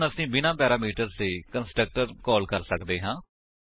ਹੁਣ ਅਸੀ ਬਿਨਾਂ ਪੈਰਾਮੀਟਰਸ ਦੇ ਕੰਸਟਰਕਟਰ ਕਾਲ ਕਰ ਸੱਕਦੇ ਹਾਂ